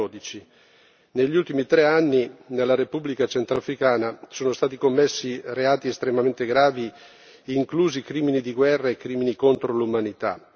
2012. Negli ultimi tre anni nella Repubblica centrafricana sono stati commessi reati estremamente gravi, inclusi crimini di guerra e crimini contro l'umanità.